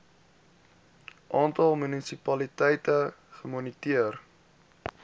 aantal munisipaliteite gemoniteer